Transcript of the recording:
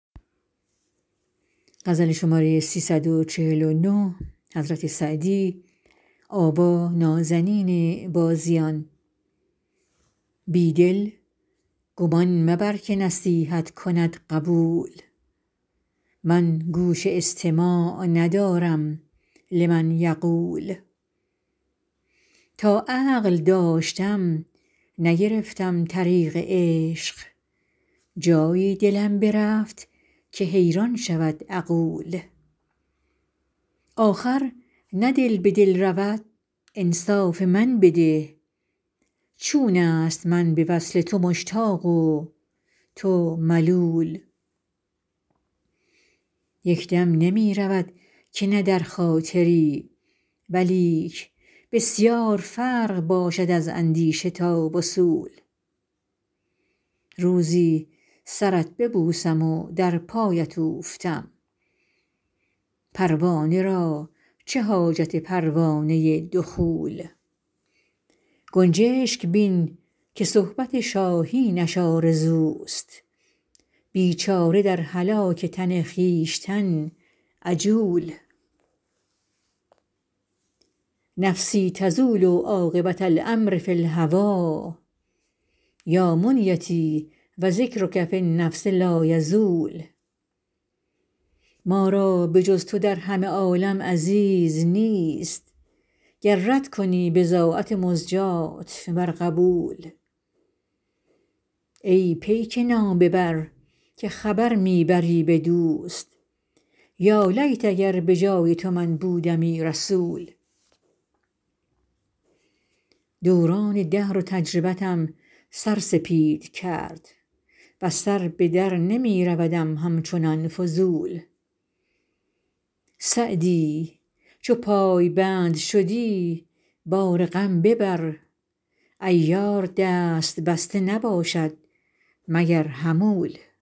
بی دل گمان مبر که نصیحت کند قبول من گوش استماع ندارم لمن یقول تا عقل داشتم نگرفتم طریق عشق جایی دلم برفت که حیران شود عقول آخر نه دل به دل رود انصاف من بده چون است من به وصل تو مشتاق و تو ملول یک دم نمی رود که نه در خاطری ولیک بسیار فرق باشد از اندیشه تا وصول روزی سرت ببوسم و در پایت اوفتم پروانه را چه حاجت پروانه دخول گنجشک بین که صحبت شاهینش آرزوست بیچاره در هلاک تن خویشتن عجول نفسی تزول عاقبة الأمر فی الهوی یا منیتی و ذکرک فی النفس لایزول ما را به جز تو در همه عالم عزیز نیست گر رد کنی بضاعت مزجاة ور قبول ای پیک نامه بر که خبر می بری به دوست یالیت اگر به جای تو من بودمی رسول دوران دهر و تجربتم سر سپید کرد وز سر به در نمی رودم همچنان فضول سعدی چو پایبند شدی بار غم ببر عیار دست بسته نباشد مگر حمول